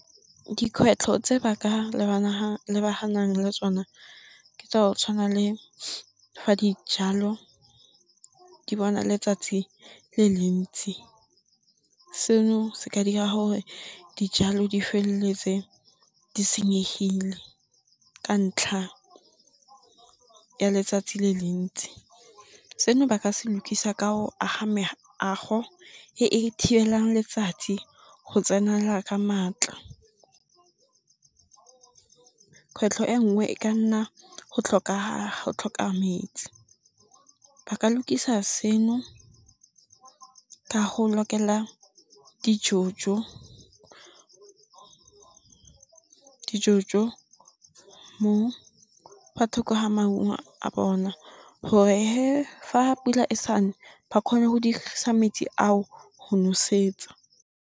Dikgwetlho tse ba ka lebaganang le tsone ke tsa go tshwana le fa dijalo di bona letsatsi le le ntsi, seno se ka dira gore dijalo di feleletse di senyegile ka ntlha ya letsatsi le le ntsi, seno ba ka se lukisa ka go aga meago e e thibelang letsatsi go tsenela ka maatla. Kgwetlho e nngwe e ka nna go tlhoka metsi, ba ka lukisa seno ka go lokela di jo-jo fa thoko ga maungo a bona gore ga pula e sa ne ba kgone go dirisa metsi ao go nosetsa.